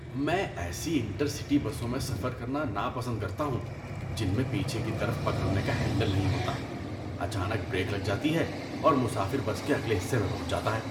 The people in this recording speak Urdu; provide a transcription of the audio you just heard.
میں ایسی انٹر سٹی بسوں میں سفر کرنا ناپسند کرتا ہوں، جن میں پیچھے کی طرف پکڑنے کا ہینڈل نہیں ہوتا۔ اچانک بریک لگ جاتی ہے اور مسافر بس کے اگلے حصے میں پہنچ جاتا ہے۔